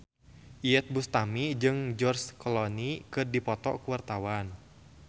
Iyeth Bustami jeung George Clooney keur dipoto ku wartawan